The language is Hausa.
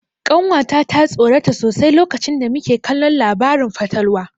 Ƙanwa ta ta tsorata sosai lokacin da muke kallon labarin fatalwa.